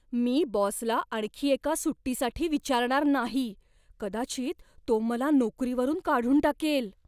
मी बॉसला आणखी एका सुट्टीसाठी विचारणार नाही. कदाचित तो मला नोकरीवरून काढून टाकेल.